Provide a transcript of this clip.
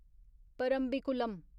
Parambikulam